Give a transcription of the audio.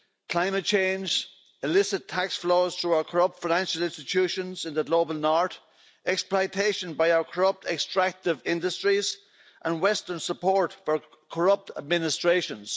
climate change, illicit tax flows through our corrupt financial institutions in the global north, exploitation by our corrupt extractive industries and western support for corrupt administrations.